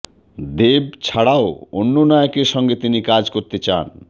দেব ছাড়াও অন্য নায়কের সঙ্গে তিনি কাজ করতে চান